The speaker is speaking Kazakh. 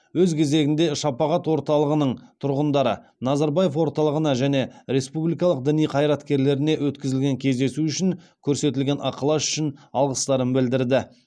өз кезегінде шапағат орталығының тұрғындары назарбаев орталығына және республиканың діни қайраткерлеріне өткізілген кездесу үшін көрсетілген ықылас үшін алғыстарын білдірді